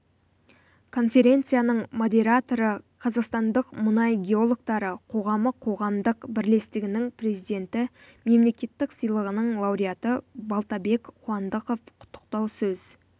конференцияның модераторы қазақстандық мұнай геологтары қоғамы қоғамдық бірлестігінің президенті мемлекеттік сыйлығының лауреаты балтабек қуандықов құттықтау сөз